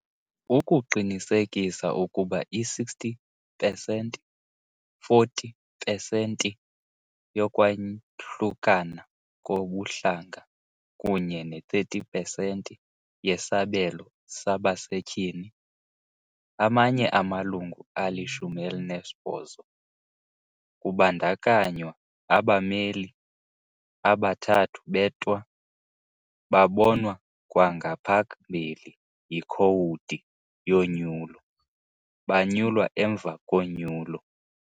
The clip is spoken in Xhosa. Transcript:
Ukuqinisekisa ukuba i-60 pesenti-40 pesenti yokwahlukana kobuhlanga kunye ne-30 pesenti yesabelo sabasetyhini, amanye amalungu ali-18, kubandakanywa abameli abathathu beTwa babonwa kwangaphambili yiKhowudi yoNyulo, banyulwa emva konyulo.